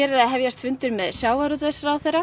er að hefjast fundur með sjávarútvegsráðherra